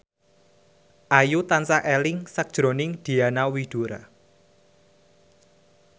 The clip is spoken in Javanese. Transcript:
Ayu tansah eling sakjroning Diana Widoera